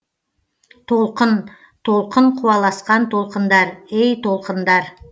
толқын толқын қуаласқан толқындар ей толқындар